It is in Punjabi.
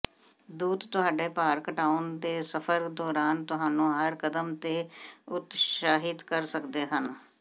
ਦੂਤ ਤੁਹਾਡੇ ਭਾਰ ਘਟਾਉਣ ਦੇ ਸਫ਼ਰ ਦੌਰਾਨ ਤੁਹਾਨੂੰ ਹਰ ਕਦਮ ਤੇ ਉਤਸ਼ਾਹਿਤ ਕਰ ਸਕਦੇ ਹਨ